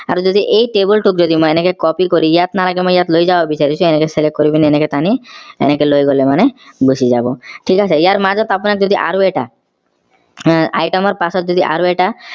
আৰু যদি এই table টোক যদি মই এনেকে copy কৰি ইয়াত নালাগে মই ইয়াত লৈ যাব বিছাৰিছো এনেকে select কৰি পিনে এনেকে টানি এনেকে লৈ গলে মানে গুচি যাব ঠিক আছে ইয়াৰ মাজত আপোনাৰ যদি আৰু এটা উহ item ৰ পাছত যদি আৰু এটা